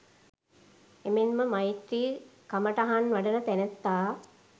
එමෙන්ම මෛත්‍රී කමටහන් වඩන තැනැත්තා